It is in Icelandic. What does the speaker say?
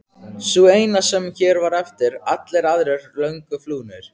Sú eina sem hér var eftir, allir aðrir löngu flúnir.